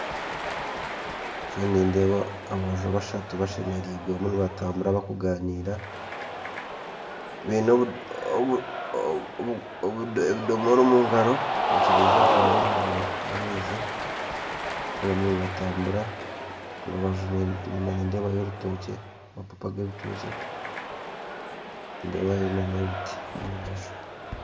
Nindeeba aboojo bashatu bashemeriirwe barimu nibatambura barikuganiira baine ebidomora by'amaizi omungaro bariyo nibatambura, enyima nindeebayo amababi g'ebitookye kandi nindeebayo na ebiti.